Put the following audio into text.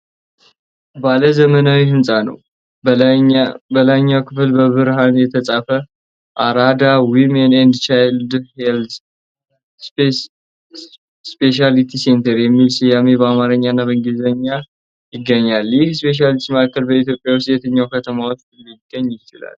ባለ ዘመናዊ ህንፃ ነው። በላይኛው ክፍል በብርሃን የተጻፈ 'Arada Women and Children Health Specialty Center' የሚል ስያሜ በአማርኛና በእንግሊዝኛ ይገኛል። ይህ ስፔሻሊቲ ማዕከል በኢትዮጵያ ውስጥ የትኛው ከተማ ውስጥ ሊገኝ ይችላል?